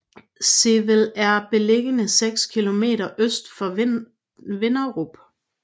Sevel er beliggende seks kilometer øst for Vinderup